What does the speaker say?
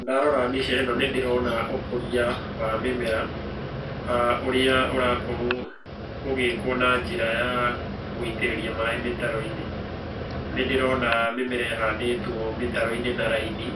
Ndarora mbica ĩno nĩ ndĩrona ũkũria wa mĩmera ũrĩa ũrakorũo ũgĩkũo na njĩra ya gũitĩrĩria maĩ mĩtaro-inĩ. Nĩ ndĩrona mĩmera ĩhandĩtwo mĩtaro-inĩ na raini